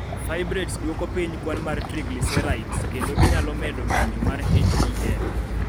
Fibrates dwoko piny kwan mar triglycerides, kendo ginyalo medo ng�injo mar HDL.